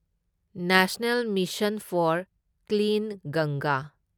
national mission for clean ꯒꯪꯒꯥ